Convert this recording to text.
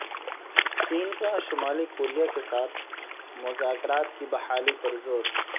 چین کا شمالی کوریا کے ساتھ مذاکرات کی بحالی پر زور